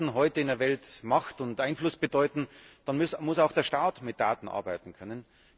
Wenn Daten heute in der Welt Macht und Einfluss bedeuten, dann muss auch der Staat mit Daten arbeiten können.